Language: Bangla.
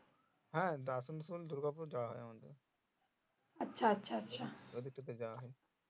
হ্যাঁ দূর্গা পুর যাওয়া হয় আমাদের এই দুটোতে যাওয়া হয়